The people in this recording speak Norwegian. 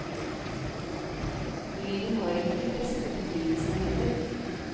Lyden har ikke de beste betingelsene heller.